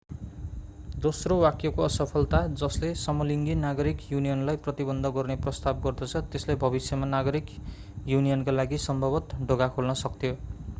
दोस्रो वाक्यको असफलता जसले समलिङ्गी नागरिक युनियनलाई प्रतिबन्ध गर्ने प्रस्ताव गर्दछ त्यसले भविष्यमा नागरिक युनियनका लागि सम्भवतः ढोका खोल्न सक्थ्यो